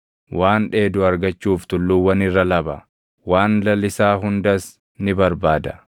Waan dheedu argachuuf tulluuwwan irra laba; waan lalisaa hundas ni barbaada.